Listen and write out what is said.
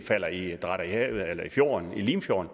dratter i havet eller i fjorden i limfjorden